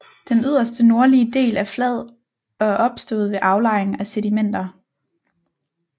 Den yderste nordlige del er flad og er opstået ved aflejring af sedimenter